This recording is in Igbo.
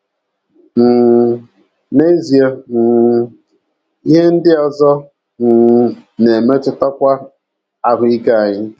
um N’ezie um, ihe ndị ọzọ um na - emetụtakwa ahụ́ ike anyị.